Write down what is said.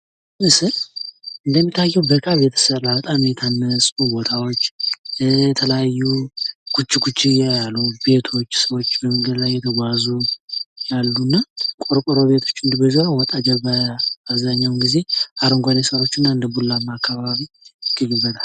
ይህ ምስል እንደሚታዬው በካብ የተሰራ በጣም የታነፁ ቦታዎች የተለያዩ ጉች ጉች ያሉ ቤቶች ሰዎች መንገድ ላይ እየተጓዙ ያሉና ቆርቆሮ ቤቶች በጀርባ ወጣ ያሉ አብዛኛውን ጊዜ አረጓዴ ሳሮችና እንደ ቡላማ አካባቢ ይገኝበታል።